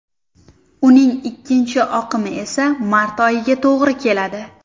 Uning ikkinchi oqimi esa mart oyiga to‘g‘ri keladi.